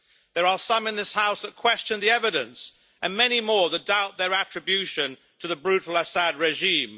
There are some in this House that question the evidence and many more that doubt their attribution to the brutal Assad regime.